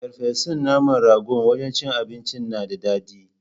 Ferfesun naman ragon wajan cin abincin nan da daɗi